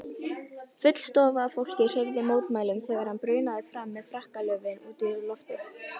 Full stofa af fólki hreyfði mótmælum þegar hann brunaði fram með frakkalöfin út í loftið.